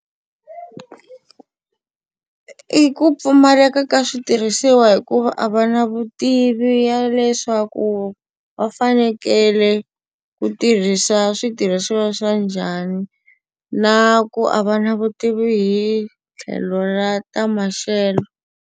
I ku pfumaleka ka switirhisiwa hikuva a va na vutivi ya leswaku va fanekele ku tirhisa switirhisiwa swa njhani, na ku a va na vutivi hi tlhelo ra ta maxelo.